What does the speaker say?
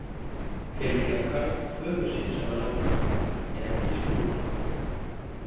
Þeir vilja karl föður sinn sem ráðherra en ekki Skúla.